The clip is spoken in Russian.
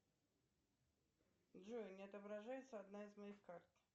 джой не отображается одна из моих карт